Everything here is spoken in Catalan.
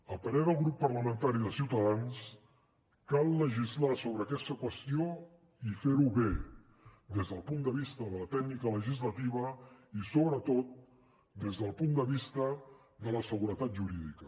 al parer del grup parlamentari de ciutadans cal legislar sobre aquesta qüestió i fer ho bé des del punt de vista de la tècnica legislativa i sobretot des del punt de vista de la seguretat jurídica